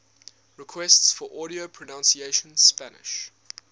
requests for audio pronunciation spanish